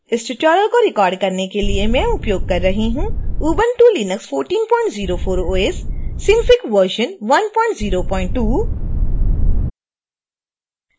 इस ट्यूटोरियल को रिकॉर्ड करने के लिए मैं उपयोग कर रही हूँ ubuntu linux 1404 os synfig version 102